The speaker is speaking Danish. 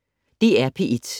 DR P1